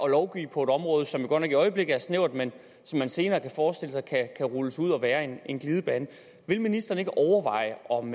lovgive på et område som jo godt nok i øjeblikket er snævert men som man senere kan forestille sig kan rulles ud og være en glidebane vil ministeren ikke overveje om